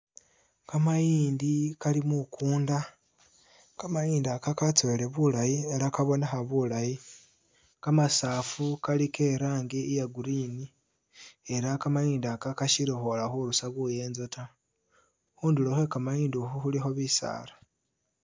Kamayindi kali mukuunda, kamayindi aka katsowile bulayi ela kabonekha bulaayi. kamasafu kali i'rangi iya Green ela kamayindi aka kasili kwola khurusa buyeenzo ta. Khundulo khwe kamayindi ukhu khulikho bisaala.